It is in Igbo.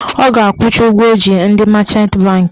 Ọ ga-akwụcha ụgwọ ọ ji ndị machant bankị